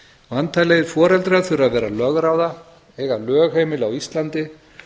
væntanlegir foreldrar þurfa að vera lögráða eiga lögheimili á íslandi